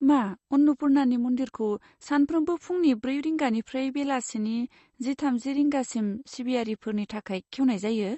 मा, अन्नपुर्नानि मन्दिरखौ सानफ्रोमबो फुंनि ब्रै रिंगानिफ्राय बेलासिनि जि थामजि रिंगासिम सिबियारिफोरनि थाखाय खेवनाय जायो?